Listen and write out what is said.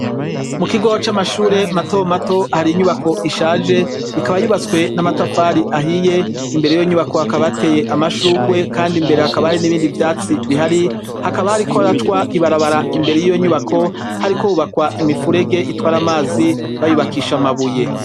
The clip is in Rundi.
Mu kigoo c'amashure mato mato hari inyubako ishaje ikaba yubatswe n'amatafari ahiye imbere yo nyubako hakaba ateye amashugwe kandi imbere hakaba hari n'ibindi vyatsi bihari hakaba hari koracwa ibarabara imbere y'iyo nyubako hari kohubakwa imifurege itware amazi bayubakisha amabuye.